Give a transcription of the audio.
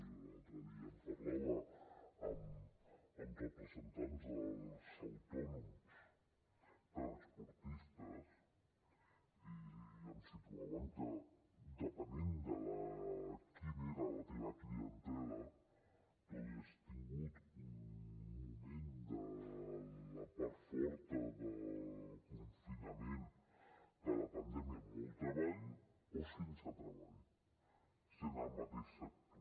jo l’altre dia en parlava amb representants dels autònoms transportistes i em situaven que depenent quina era la teva clientela tu havies tingut un moment de la part forta del confinament de la pandèmia molt treball o sense treball sent el mateix sector